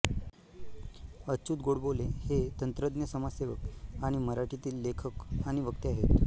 अच्युत गोडबोले हे तंत्रज्ञ समाजसेवक आणि मराठीतील लेखक आणि वक्ते आहेत